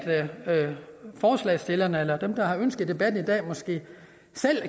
forslagsstillerne eller dem der har ønsket debatten i dag